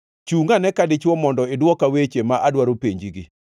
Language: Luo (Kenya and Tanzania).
“Chungʼ ane ka dichwo; mondo idwoka weche, ma adwaro penjigi.